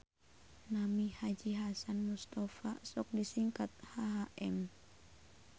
Nami Haji Hasan Mustapa sok disingkat HHM